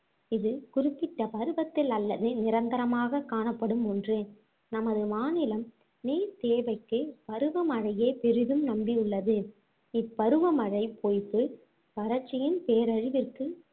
இது குறிப்பிட்ட பருவத்தில் அல்லது நிரந்தரமாக காணப்படும் ஒன்று நமது மாநிலம் நீர் தேவைக்கு பருவ மழையே பெரிதும் நம்பியுள்ளது இப்பருவமழை பொய்ப்பு வறட்சியின் பேரழிவிற்கு